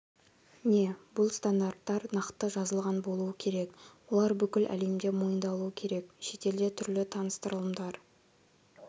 не бұл стандарттар нақты жазылған болуы керек олар бүкіл әлемде мойындалуы керек шетелде түрлі таныстырылымдар